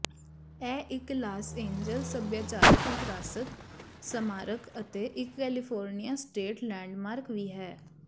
ਇਹ ਇੱਕ Los Angeles ਸੱਭਿਆਚਾਰਕ ਵਿਰਾਸਤ ਸਮਾਰਕ ਅਤੇ ਇੱਕ ਕੈਲੀਫੋਰਨੀਆ ਸਟੇਟ ਲੈਂਡਮਾਰਕ ਵੀ ਹੈ